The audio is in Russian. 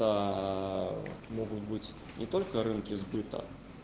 могут быть не только рынки сбыта